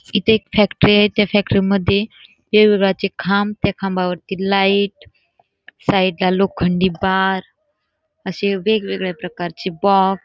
इथे एक फॅक्टरी आहे त्या फॅक्टरीमध्ये खांब खांबावरती लाईट साईडला लोखंडी बार असे वेग्वेगळ्या प्रकारचे बॉक्स --